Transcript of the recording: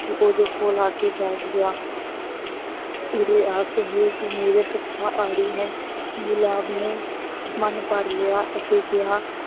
ਕਿ ਉਹਦੇ ਕੋਲ ਆ ਕੇ ਬੈਠ ਗਿਆ। ਉਰੇ ਆ ਸੁਹੇਲ ਤੂੰ ਮੇਰਾ ਸੱਚਾ ਆੜੀ ਹੈਂ। ਗੁਲਾਬ ਨੇ ਮੰਨ ਭਰ ਲਿਆ ਅਤੇ ਕਿਹਾ